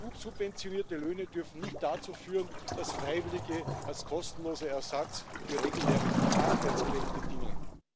EU subventionierte Löhne dürfen nicht dazu führen, dass Freiwillige als kostenloser Ersatz für reguläre Arbeitskräfte dienen.